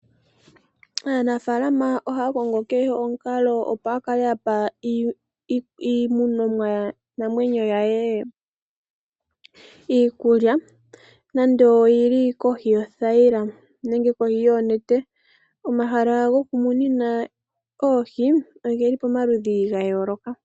Aanafaalama ohaya kongo kehe omukalo, opo ya kale ya pa iitekulwanamwenyo yawo iikulya nonando oyi li kohi yoothayila nenge kohi yonete. Omahala gokumunina oohi oge li pamaludhi ga yooloka.